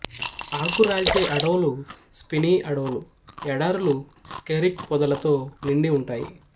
ఆకురాల్చే అడవులు స్పినీ అడవులు ఎడారులు క్సెరిక్ పొదలతో నిండి ఉంటాయి